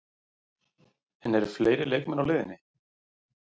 En eru fleiri leikmenn á leiðinni?